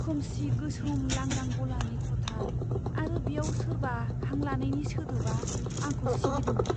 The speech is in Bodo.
खोमसि गोसोम लांदां गलानि खथा आरो बेयाव सोरबा हां लानायनि सोदोबआ आंखौ सिगिदोंमोन।